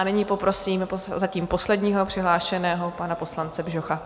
A nyní poprosím zatím posledního přihlášeného, pana poslance Bžocha.